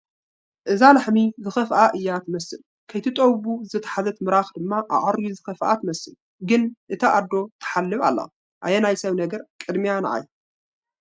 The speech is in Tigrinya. እዛ ላሕሚ ዝኸፍአ እያ ትመስል፡፡ ከይትጠቡ ዝተታሕዘት ምራኻ ድማ ኣዕርዩ ዝኸፍኣ ትመስል፡፡ ግን እታ ኣዶ ትሕለብ ኣላ፡፡ ኣየ ናይ ሰብ ነገር፡፡ ቅድሚያ ንዓይ፡፡